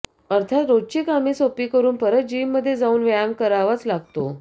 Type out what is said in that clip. अर्थात रोजची कामे सोपी करून परत जिममधे जाऊन व्यायाम करावाच लागतो